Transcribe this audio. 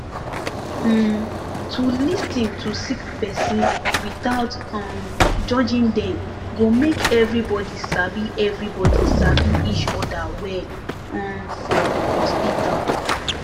um to lis ten to sick person without um judging dem go make everybody sabi everybody sabi each oda well um for hospital